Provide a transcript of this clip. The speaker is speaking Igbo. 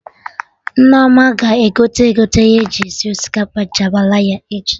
Nneoma ga-egote egote ihe eji esi osikapa jambalaya echi